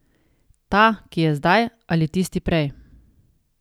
Ta, ki je zdaj, ali tisti prej.